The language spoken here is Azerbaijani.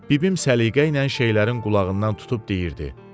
Bibim səliqə ilə şeylərin qulağından tutub deyirdi.